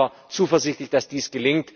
Ich bin aber zuversichtlich, dass dies